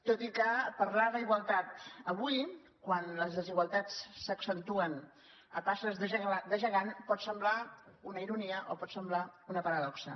tot i que parlar d’igualtat avui quan les desigualtats s’accentuen a passes de gegant pot semblar una ironia o pot semblar una paradoxa